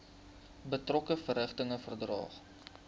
betrokke verrigtinge verdaag